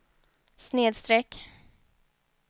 snedsträck